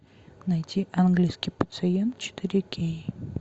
найти английский пациент четыре кей